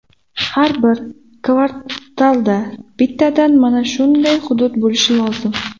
Har bir kvartalda bittadan mana shunday hudud bo‘lishi lozim.